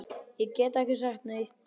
Ég gat ekki sagt neitt.